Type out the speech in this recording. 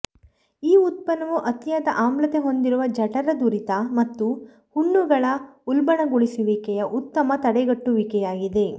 ಈ ಉತ್ಪನ್ನವು ಅತಿಯಾದ ಆಮ್ಲತೆ ಹೊಂದಿರುವ ಜಠರದುರಿತ ಮತ್ತು ಹುಣ್ಣುಗಳ ಉಲ್ಬಣಗೊಳಿಸುವಿಕೆಯ ಉತ್ತಮ ತಡೆಗಟ್ಟುವಿಕೆಯಾಗಿದೆ